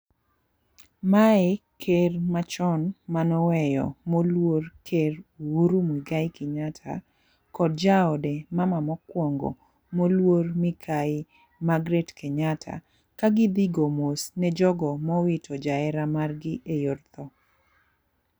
Mae ker machon manoweyo moluor ker Uhuru Mwigai Kenyatta kod jaode mama mokwongo moluor mikayi magret kenyatta ka gidhi go mos ne jogo mowito jahera mar gi e yor tho.